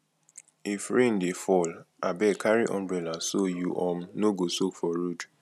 if rain dey fall abeg carry umbrella so you um no go soak for road